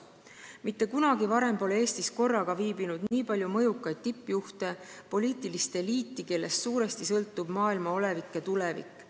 Mitte kunagi varem pole Eestis korraga viibinud nii palju mõjukaid tippjuhte, poliitilist eliiti, kellest suuresti sõltub maailma olevik ja tulevik.